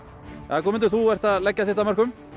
jæja Guðmundur þú ert að leggja þitt af mörkum